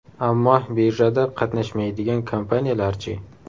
Ammo birjada qatnashmaydigan kompaniyalar-chi?